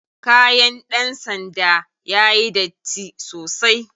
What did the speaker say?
Kayan ɗan sanda yayi datti sosai.